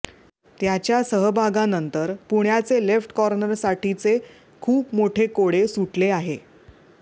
त्याच्या सहभागानंतर पुण्याचे लेफ्ट कॉर्नरसाठीचे खूप मोठे कोडे सुटले आहे